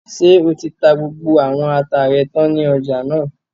Ṣé o ti ta gbogbo àwọn ata rẹ tán ní ọjà náà?